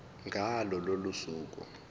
ngalo lolo suku